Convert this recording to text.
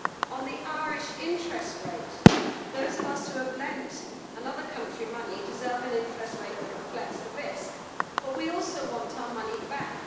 On the Irish interest rate, those of us who have lent another country money deserve an interest rate which reflects the risk, but we also want our money back.